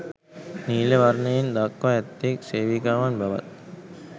නීල වර්ණයෙන් දක්වා ඇත්තේ සේවිකාවන් බවත්